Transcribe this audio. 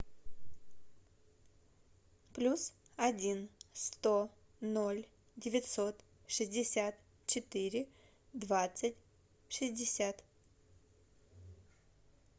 плюс один сто ноль девятьсот шестьдесят четыре двадцать шестьдесят